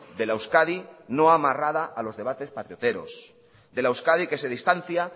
de la euskadi no amarrada a los debates patrioteros de la euskadi que se distancia